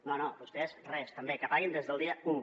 no no vostès res també que paguin des del dia u